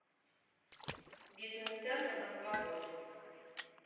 бизнес центр на свободе